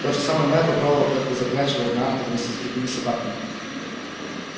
тот же самый мэтт попробовал как то запрячь его в нарты вместе с другими собаками